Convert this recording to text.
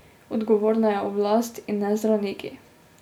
Odgovorna je oblast, in ne zdravniki.